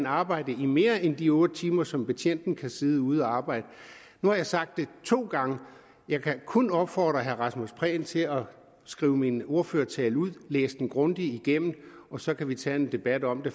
arbejde i mere end de otte timer som betjenten kan sidde ude og arbejde nu har jeg sagt det to gange jeg kan kun opfordre herre rasmus prehn til at skrive min ordførertale ud læse den grundigt igennem og så kan vi tage en debat om det